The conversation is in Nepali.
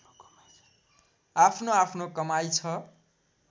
आफ्नोआफ्नो कमाइ छ